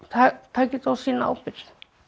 taka þetta á sína ábyrgð